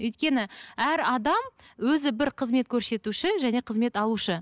өйткені әр адам өзі бір қызмет көрсетуші және қызмет алушы